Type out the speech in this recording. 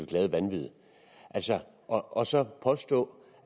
glade vanvid og så at påstå